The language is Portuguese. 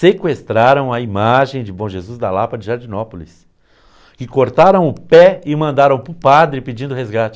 Sequestraram a imagem de bom Jesus da Lapa de Jardinópolis e cortaram o pé e mandaram para o padre pedindo resgate.